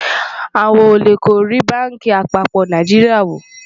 àwọn ólè kò rí bánkì àpapọ Nàìjíríà wò